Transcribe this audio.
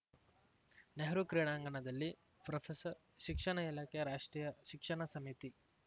ನೆಹರು ಕ್ರೀಡಾಂಗಣದಲ್ಲಿ ಪ್ರೊಫೆಸರ್ ಶಿಕ್ಷಣ ಇಲಾಖೆ ರಾಷ್ಟ್ರೀಯ ಶಿಕ್ಷಣ ಸಮಿತಿ